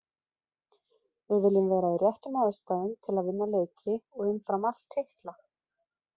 Við viljum vera í réttum aðstæðum til að vinna leiki og umfram allt titla.